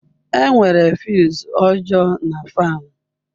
Enwere fuse ọjọọ na fan.